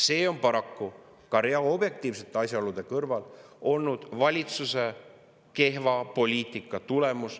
See on paraku ka rea objektiivsete asjaolude kõrval olnud valitsuse kehva poliitika tulemus …